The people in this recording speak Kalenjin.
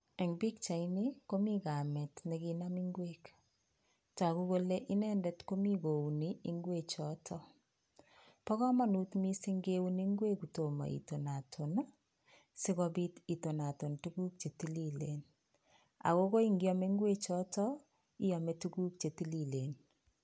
Eng' pichatni komi kamit nekinam ngwek toku kole inendet komi kouni ngwek chootok pa komonut miising' keuni ngwek kotomo itonaton sikobiit itonaton tuguk chetililen akokoi ngiame ngwek chootok, iame tuguk chetililen